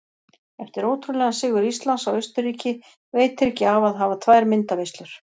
Eftir ótrúlegan sigur Íslands á Austurríki veitir ekki af að hafa tvær myndaveislur.